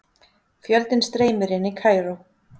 Fjöldinn streymir inn í Kaíró